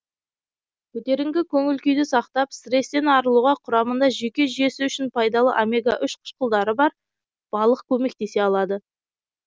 көтеріңкі көңіл күйді сақтап стресстен арылуға құрамында жүйке жүйесі үшін пайдалы омега үш қышқылдары бар балық көмектесе алады